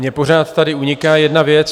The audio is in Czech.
Mě pořád tady uniká jedna věc.